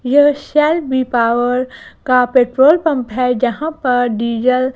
यह Shell V power का petrol pump है जहां पर डिजल --